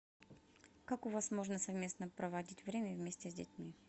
как у вас можно совместно проводить время вместе с детьми